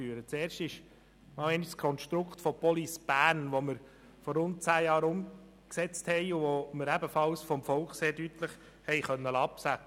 Erstens konnten wir das Konstrukt der Police Bern vom Volk sehr deutlich absegnen lassen und haben es vor rund 10 Jahren umgesetzt.